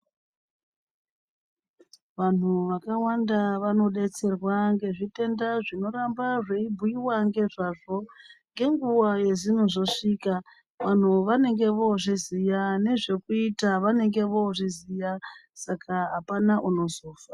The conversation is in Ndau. Vantju vakawana vanodetserwa ngebdaa yezvitemda zvinoramba zveibhuiwa ngezvazvo ngenguwa yezvinozosvika vanthu vanenge voozviziua nezvokuita vanenge vooviziya.